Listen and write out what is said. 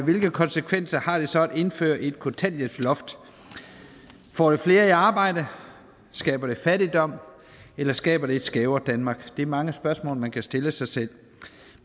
hvilke konsekvenser har det så at indføre et kontanthjælpsloft får det flere i arbejde skaber det fattigdom eller skaber det et skævere danmark er mange spørgsmål man kan stille sig selv